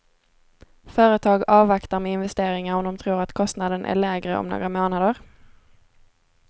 Företag avvaktar med investeringar om de tror att kostnaden är lägre om några månader.